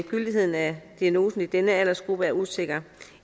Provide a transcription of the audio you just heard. gyldigheden af diagnosen i denne aldersgruppe er usikker